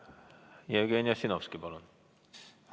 Jevgeni Ossinovski, palun!